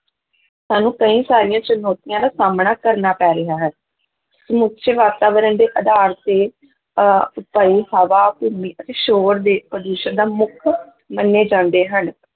ਸਾਨੂੰ ਕਈ ਸਾਰੀਆਂ ਚੁਣੌਤੀਆਂ ਦਾ ਸਾਹਮਣਾ ਕਰਨਾ ਪੈ ਰਿਹਾ ਹੈ ਸਮੁੱਚੇ ਵਾਤਾਵਰਨ ਦੇ ਆਧਾਰ ਤੇ ਅਹ ਹਵਾ, ਭੂਮੀ ਅਤੇ ਸ਼ੋਰ ਦੇ ਪ੍ਰਦੂਸ਼ਣ ਦਾ ਮੁੱਖ ਮੰਨੇ ਜਾਂਦੇ ਹਨ,